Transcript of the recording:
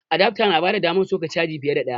Adafta na bada damar soka caji fiye da ɗaya